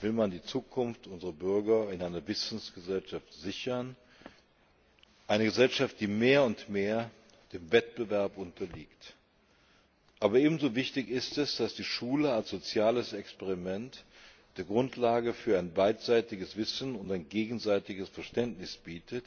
will man die Zukunft unserer Bürger in einer Wissensgesellschaft sichern, einer Gesellschaft, die mehr und mehr dem Wettbewerb unterliegt. Aber ebenso wichtig ist es, dass die Schule als soziales Experiment die Grundlage für ein beidseitiges Wissen und ein gegenseitiges Verständnis bietet,